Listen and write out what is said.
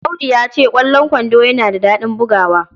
Audu ya ce, "Ƙwallon kwando yana da daɗin bugawa."